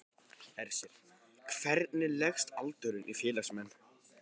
Hersir, hvernig leggst aldurinn í félagsmenn?